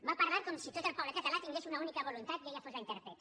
va parlar com si tot el poble català tingués una única voluntat i ella en fos la intèrpret